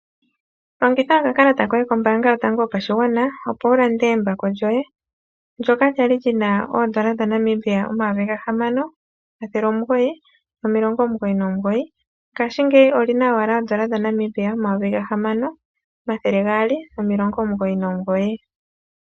Longitha okakalata koye kotango kombaanga yopashigwana opo wu lande embako lyoye lyoka lya li lyina oodolla dhaNamibia omayovi gahamano omathele omugoyi nomilongo omugoyi nomugoyi, ngaashingeyi olyina owala oodolla dhaNamibia omayovi gahamano omathele gaali nomilongo omugoyi nomugoyi.